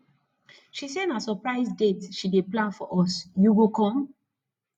she say na surprise date she dey plan for us you go come